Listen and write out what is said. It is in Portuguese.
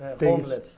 Homeless.